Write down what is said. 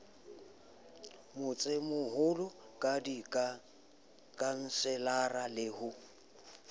motsemoholo ka dikhanselara le ho